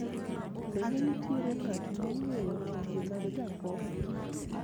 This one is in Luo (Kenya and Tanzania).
bende nitiere ng'at mong'eyo tije mag jakom